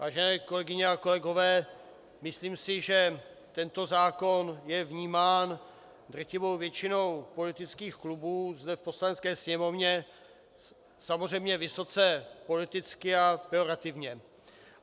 Vážené kolegyně a kolegové, myslím si, že tento zákon je vnímán drtivou většinou politických klubů zde v Poslanecké sněmovně samozřejmě vysoce politicky a pejorativně.